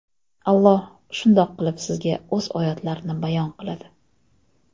Alloh shundoq qilib sizga O‘z oyatlarini bayon qiladi.